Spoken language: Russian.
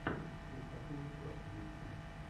криптакоин клаб на ютьюбе